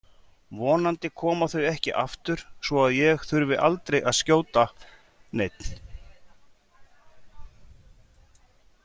Vonandi koma þau ekki aftur svo að ég þurfi aldrei að skjóta neinn.